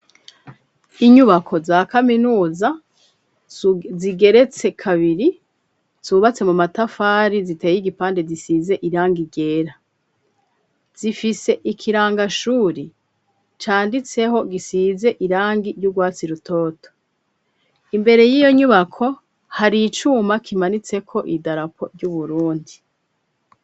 inyubako za kaminuza zigeretse kabiri zubatse mu matafari ziteye igipande gisize irangi igera zifise ikirangashuri canditseho gisize irangi ry'urwatsi rutoto imbere y'iyo nyubako hari icuma kimanitse ko idarapo ry'uburundi